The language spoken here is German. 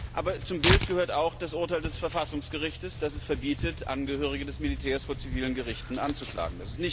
Aber zum Bild gehört auch das Urteil des Verfassungsgerichts, das es verbietet, Angehörige des Militärs vor zivilen Gerichten anzuklagen.